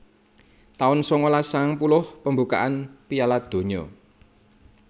taun sangalas sangang puluh Pembukaan Piala Donya